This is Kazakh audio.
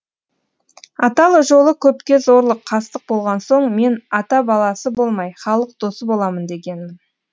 ата жолы көпке зорлық қастық болған соң мен ата баласы болмай халық досы боламын дегенмін